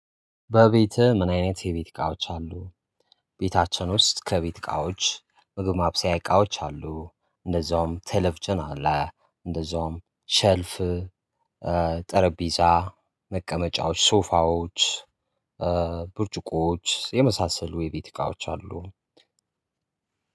በቤትህ ምን አይነት የቤት እቃዎች አሉ? ቤታችን ውስጥ ከቤት እቃዎች ምግብ ማብሰያ እቃዎች አሉ እንደዛውም ተለቭጅን አለ። እንደዛውም ሸልፍ ጠረጴዛ መቀመጫዎች ሶፋዎች። ብርጭቆዎች የመሳሰሉ የቤት እቃዎች አሉ።